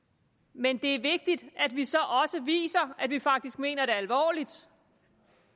men det er vigtigt at vi så også viser at vi faktisk mener det alvorligt